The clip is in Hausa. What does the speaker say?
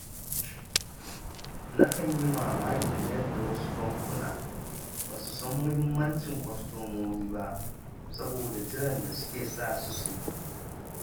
Nakan yi mamakin yadda wasu bankunan ba su san muhimmancin kwastomomi ba, saboda jiran da suke sa su suyi